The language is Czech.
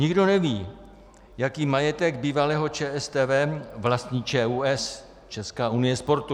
Nikdo neví, jaký majetek bývalého ČSTV vlastní ČUS, Česká unie sportu.